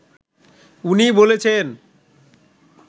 উনি বলেছেন